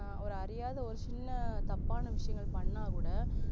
ஆஹ் ஒரு அறியாத ஒரு சின்ன ஒரு தப்பான விஷயங்கள் பன்னாகூட